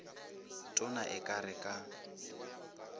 tona e ka re ka